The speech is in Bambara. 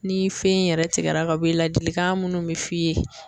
Ni fɛn in yɛrɛ tigɛra ka bɔ ye ladilikan munnu bɛ f'i ye.